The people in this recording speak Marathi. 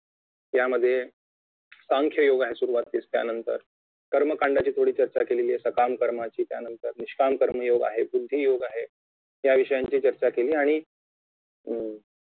त्यामध्ये कांश योग्य सुरुवातीस त्यानंतर कर्मकांडाची थोडी चर्चा केलेली आहे सकाम कर्माची त्यानंतर निष्काम कर्मयोग आहे बुद्धी योग आहे याविषयांची चर्चा केली आणि अं